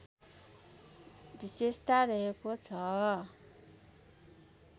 विशेषता रहेको छ